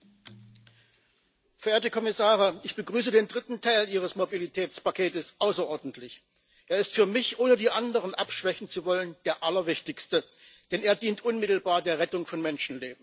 Herr Präsident! Verehrte Kommissare, ich begrüße den dritten Teil Ihres Mobilitätspakets außerordentlich. Er ist für mich ohne die anderen abschwächen zu wollen der allerwichtigste, denn er dient unmittelbar der Rettung von Menschenleben.